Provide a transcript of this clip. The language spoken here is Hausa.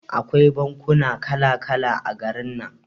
Akwai bankuna kala kala a garin nan.